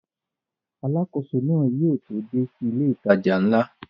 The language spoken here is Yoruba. Alákóso náà yóò tó dé sí ilé ìtajà ńlá